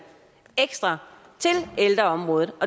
ekstra til ældreområdet